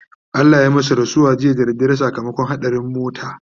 Allah ya masu rasuwa jiya da dare sakamakon haɗarin mota